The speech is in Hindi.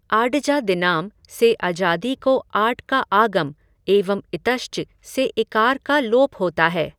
आडजादिनाम् से अजादि को आट् का आगम एवं इतश्च से इकार का लोप होता है।